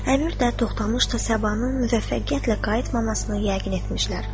Əmir də Toxtamış da Səbanın müvəffəqiyyətlə qayıtmamasını yəqin etmişlər.